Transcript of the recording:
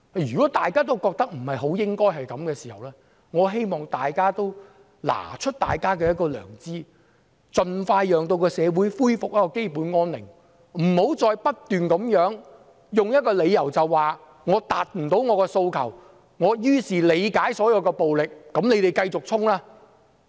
如果大家也覺得不應該這樣，我希望大家拿出良知，盡快讓社會恢復基本安寧，不要再不斷用一個理由，說無法達到訴求，故此理解所有暴力，支持繼續衝擊。